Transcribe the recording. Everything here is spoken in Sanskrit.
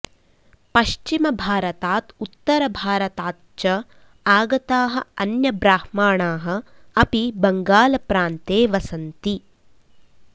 पश्चिमभारतात् उत्तरभारतात् च आगताः अन्यब्राह्माणाः अपि बङ्गालप्रान्ते वसन्ति